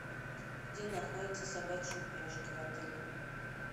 где находятся собачьи упряжки в отеле